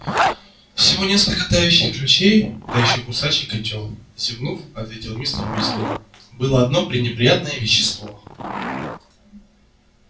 всего несколько тающих ключей да ещё кусачий котёл зевнув ответил мистер уизли было одно пренеприятное вещество